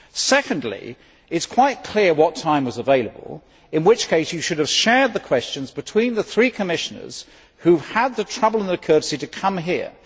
Secondly, it was quite clear what time was available, in which case you should have shared the questions between the three Commissioners who have taken the trouble and have the courtesy to come here.